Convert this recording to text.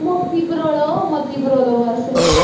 ਮੋਤੀ ਪਰੋਲੋ ਮੋਤੀ ਪਰੋਲੋ ਬਸ